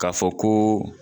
Ka fɔ ko